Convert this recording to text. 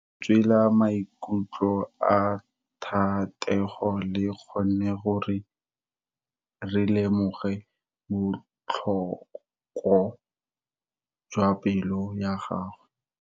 Lentswe la maikutlo a Thatego le kgonne gore re lemosa botlhoko jwa pelo ya gagwe.